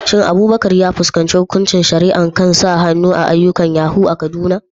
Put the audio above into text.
Shin Abubakar ya fuskanci hukuncin shari'a kan sa hannu a ayyukan yahoo a Kaduna?